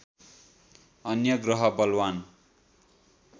अन्य ग्रह बलवान्